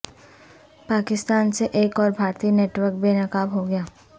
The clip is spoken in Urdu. پاکستان سے ایک اور بھارتی نیٹ ورک بے نقاب ہوگیا